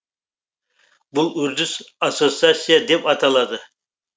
бұл үрдіс ассоциация деп аталады